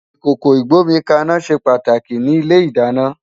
Ikókó igbómikàná sé pàtáki ni ilé-idàná